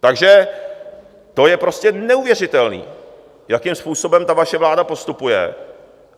Takže to je prostě neuvěřitelné, jakým způsobem ta vaše vláda postupuje.